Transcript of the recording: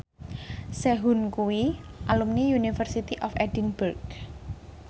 Sehun kuwi alumni University of Edinburgh